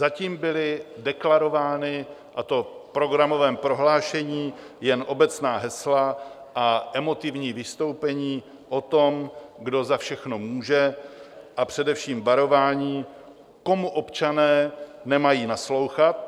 Zatím byla deklarována, a to v programovém prohlášení, jen obecná hesla a emotivní vystoupení o tom, kdo za všechno může, a především varování, komu občané nemají naslouchat.